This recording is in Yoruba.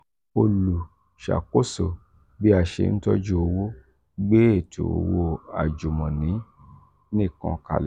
olùṣàkóso bí a ṣe ń tọ́jú owó gbé ètò owó àjùmọ̀ní nìkan kalẹ̀.